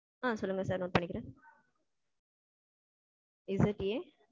ஆ சொல்லுங்க sir note பண்ணிக்கிறேன். ZA